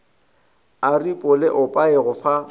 aripo le oapi go fa